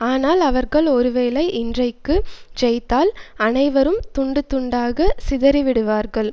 ஆனால் அவர்கள் ஒருவேளை இன்றைக்கு ஜெயித்தால் அனைவரும் துண்டுதுண்டாக சிதறிவிடுவார்கள்